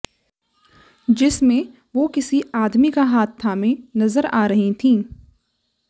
जिसमें वो किसी आदमी का हाथ थामे नजर आ रही थीं